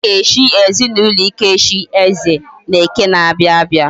Aga echi ezinaulo Ikechi, eze, na eke na abia abia